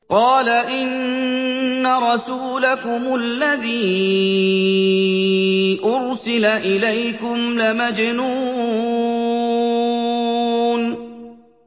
قَالَ إِنَّ رَسُولَكُمُ الَّذِي أُرْسِلَ إِلَيْكُمْ لَمَجْنُونٌ